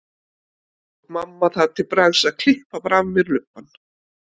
Þá tók mamma það til bragðs að klippa bara af mér lubbann.